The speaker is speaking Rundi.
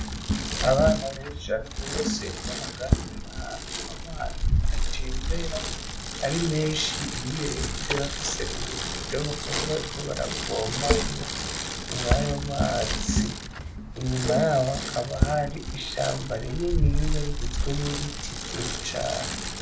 Abana benshi cane gose bahagaze ahantu amazi atembera ari menshi bakaba bafis'ubido bakaba bariko baravomamwo mwayo mazi, inyuma yaho hakaba har'ishamba rininiya rigizwe n'ibiti vyinshi cane .